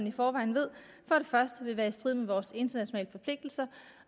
i forvejen ved vil være i strid med vores internationale forpligtelser